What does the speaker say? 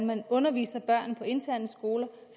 man underviser børn på interne skoler